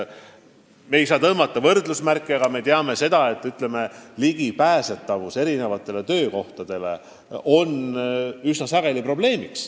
Me ei saa kõikjale tõmmata võrdusmärke – me teame, et halb ligipääs paljudele töökohtadele on üsna sageli probleem.